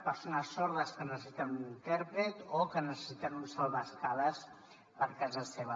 persones sordes que necessiten un intèrpret o que necessiten una salvaescales per a casa seva